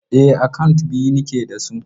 E, akant biyu nake da su.